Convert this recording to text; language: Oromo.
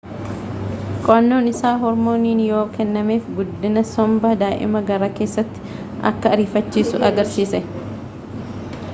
qo'annoon isaa hoormooniin yoo kennameef guddina somba daa'ima garaa keessaa akka ariifachiisu agarsiise